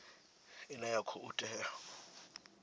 ine ya khou tea u